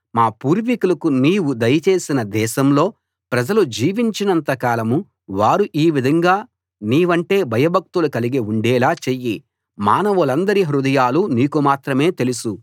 మా పూర్వీకులకు నీవు దయ చేసిన దేశంలో ప్రజలు జీవించినంత కాలం వారు ఈ విధంగా నీవంటే భయభక్తులు కలిగి ఉండేలా చెయ్యి మానవులందరి హృదయాలూ నీకు మాత్రమే తెలుసు